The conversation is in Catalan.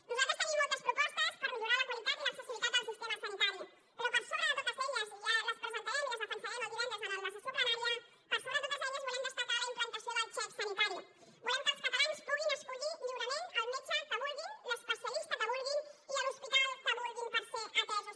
nosaltres tenim moltes propostes per millorar la qualitat i l’accessibilitat al sistema sanitari però per sobre de totes elles i ja les presentarem i les defensarem el divendres en la sessió plenària volem destacar la implantació del xec sanitari volem que els catalans puguin escollir lliurement el metge que vulguin l’especialista que vulguin i l’hospital que vulguin per ser atesos